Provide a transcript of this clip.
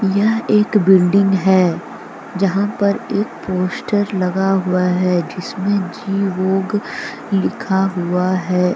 यह एक बिल्डिंग है। जहां पर एक पोस्टर लगा हुआ है। जिसमें जी वोग लिखा हुआ है।